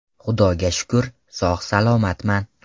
Xudoga shukr, sog‘-salomatman.